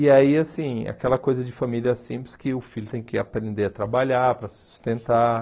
E aí, assim, aquela coisa de família simples que o filho tem que aprender a trabalhar, para se sustentar.